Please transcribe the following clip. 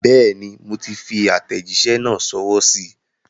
Bẹ́ẹ̀ni, moti fi àtẹ̀jísẹ́ náà sọwọ́ síí.